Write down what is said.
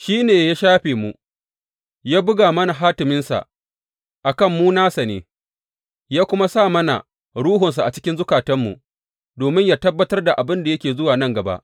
Shi ne ya shafe mu, ya buga mana hatiminsa a kan mu nasa ne, ya kuma sa mana Ruhunsa a cikin zukatanmu, domin yă tabbatar da abin da yake zuwa nan gaba.